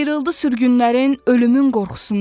Sıyırıldı sürgünlərin, ölümün qorxusundan.